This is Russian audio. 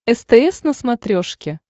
стс на смотрешке